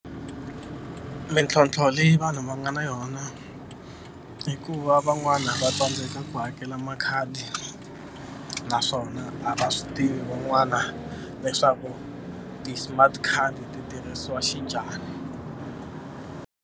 Mintlhontlho leyi vanhu va nga na yona i ku va van'wana va tsandzeka ku hakela makhadi naswona a va swi tivi van'wana leswaku ti-smart card ti tirhisiwa xinjhani.